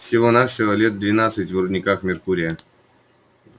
всего-навсего лет двадцать в рудниках меркурия